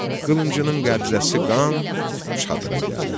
Qılıncının qəbzəsi qan çadıra gəldi.